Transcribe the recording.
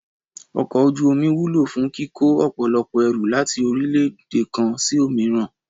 Ọkọ̀ ojú omi wúlò fún kíkó ọ̀pọ̀lọpọ̀ ẹrù láti orílẹ̀-èdè kan sí òmíràn